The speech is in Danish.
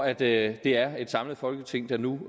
at det er et samlet folketing der nu